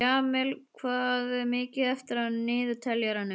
Jamil, hvað er mikið eftir af niðurteljaranum?